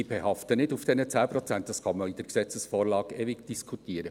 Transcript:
Ich behafte nicht auf diesen 10 Prozent, das kann man in der Gesetzesvorlage ewig diskutieren.